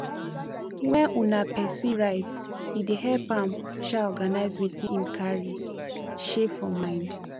when um person write e dey help am um organize wetin im carry um for mind